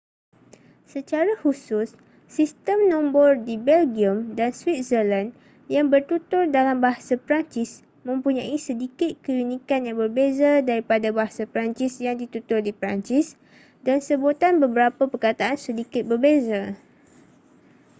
secara khusus sistem nombor di belgium dan switzerland yang bertutur dalam bahasa perancis mempunyai sedikit keunikan yang berbeza daripada bahasa perancis yang ditutur di perancis dan sebutan beberapa perkataan sedikit berbeza